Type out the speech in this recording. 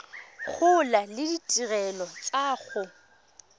gola le ditirelo tsa go